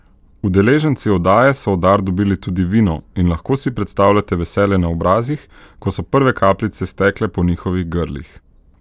Udeleženci oddaje so v dar dobili tudi vino in lahko si predstavljate veselje na obrazih, ko so prve kapljice stekle po njihovih grlih.